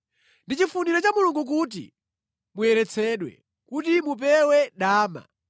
Ndi chifuniro cha Mulungu kuti muyeretsedwe: kuti mupewe dama;